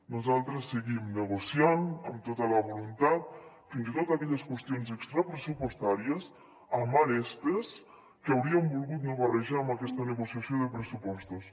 nosaltres seguim negociant amb tota la voluntat fins i tot aquelles qüestions extrapressupostàries amb arestes que hauríem volgut no barrejar en aquesta negociació de pressupostos